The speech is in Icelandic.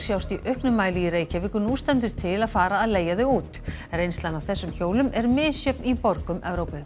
sjást í auknum mæli í Reykjavík og nú stendur til að fara að leigja þau út reynslan af þessum hjólum er misjöfn í borgum Evrópu